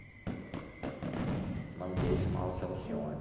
O nome dele chamava-se Alcione.